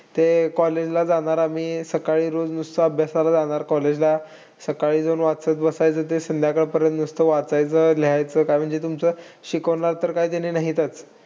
ते college ला जाणार. आम्ही सकाळी रोज नुसता अभ्यासाला जाणार college ला. सकाळी जाऊन वाचत बसायचं ते संध्याकाळपर्यंत नुसतं वाचायचं, लिहायचं. काय म्हणजे तुमचं, शिकवणार तर काही नाहीतच.